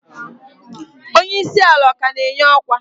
Onye isi ala ọ ka na-enye ọkwa?